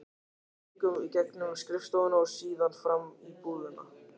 Við göngum í gegnum skrifstofuna og síðan fram í búðina.